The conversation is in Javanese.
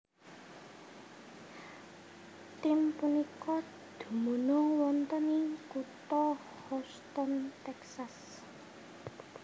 Tim punika dumunung wonten ing kutha Houston Texas